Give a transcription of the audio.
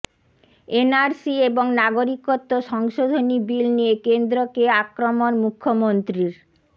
NRC এবং নাগরিকত্ব সংশোধনী বিল নিয়ে কেন্দ্রকে আক্রমণ মুখ্যমন্ত্রীর